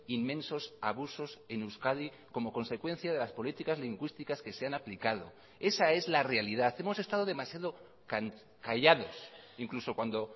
inmensos abusos en euskadi como consecuencia de las políticas lingüísticas que se han aplicado esa es la realidad hemos estado demasiado callados incluso cuando